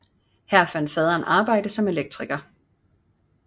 Her fandt faderen arbejde som elektriker